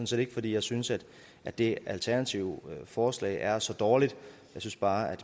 set ikke fordi jeg synes at at det alternative forslag er så dårligt jeg synes bare at